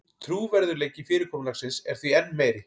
Trúverðugleiki fyrirkomulagsins er því enn meiri